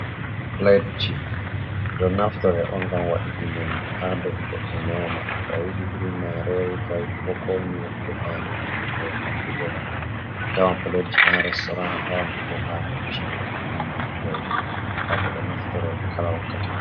Platji ɓe ɗonaftiro on ngam waɗuki nyamdu ha dou goɗɗo nyama, to ayiɗi iri marori, to ayiɗi bo ko nyiyri defandi e ko nandi be non, atawan platji ha restoran atawan ɗi bo ha ci’e ummatoje ngam ɓe ɗo naftorto ɗi kala wakkati fu.